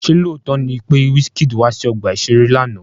Ṣé lóòótọ́ ni pé Wizkid wá sí ọgbà-ìṣeré lánàá?